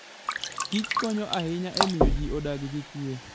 Kich konyo ahinya e miyo ji odag gi kuwe.